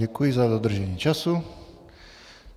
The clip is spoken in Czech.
Děkuji za dodržení času.